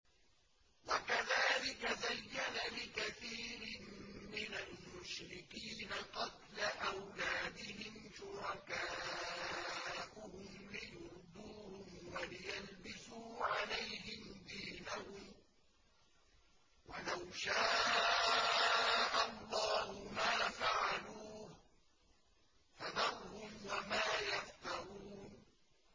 وَكَذَٰلِكَ زَيَّنَ لِكَثِيرٍ مِّنَ الْمُشْرِكِينَ قَتْلَ أَوْلَادِهِمْ شُرَكَاؤُهُمْ لِيُرْدُوهُمْ وَلِيَلْبِسُوا عَلَيْهِمْ دِينَهُمْ ۖ وَلَوْ شَاءَ اللَّهُ مَا فَعَلُوهُ ۖ فَذَرْهُمْ وَمَا يَفْتَرُونَ